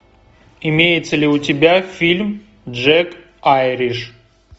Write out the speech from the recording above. имеется ли у тебя фильм джек айриш